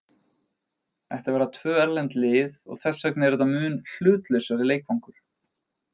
Þetta verða tvö erlend lið og þess vegna er þetta mun hlutlausari leikvangur.